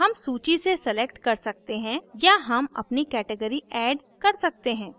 हम सूची से select कर सकते हैं या हम अपनी category add कर सकते हैं